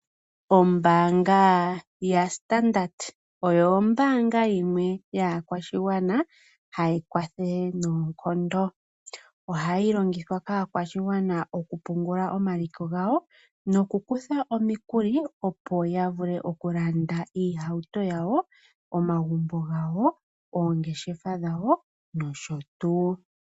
Ombaanga yaStandard oyo ombaanga yaakwashigwana hayi kwathele noonkondo. Ohayi longithwa kaakwashigwana oku pungula omaliko gawo noku kutha omikuli opo ya vule oku landa iihauto yawo, omagumbo gawo, oongeshefa dhawo nosho tuu.